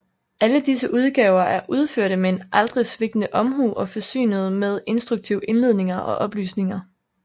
Alle disse udgaver er udførte med en aldrig svigtende omhu og forsynede med instruktive indledninger og oplysninger